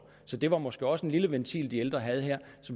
det var måske også en lille ventil de ældre havde her